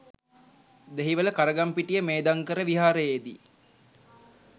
Dehiwala Karagampitiya Medhankara විහාරයේදී